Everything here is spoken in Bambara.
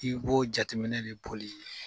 F' ko jateminɛ de boli